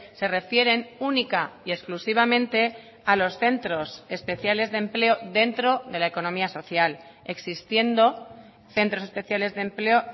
se refieren única y exclusivamente a los centros especiales de empleo dentro de la economía social existiendo centros especiales de empleo